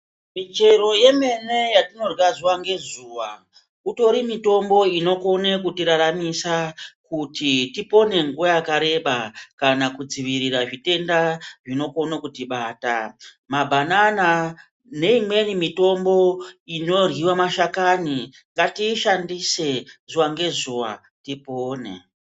Michero yemene yatinorys zuwa ngezuwa itori mitombo inokona kutiraramisa kuti tipone nguwa yakareba kana kudzivirira zvitenda zvinokona kutibata . Mabhanana neimweni mitombo inoryiwa mashakani ngatiishandise zuwa ngezuwa tipone.